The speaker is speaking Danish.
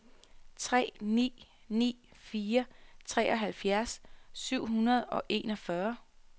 tre ni ni fire treoghalvfjerds syv hundrede og enogfyrre